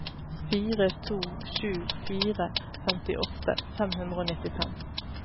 fire to sju fire femtiåtte fem hundre og nittifem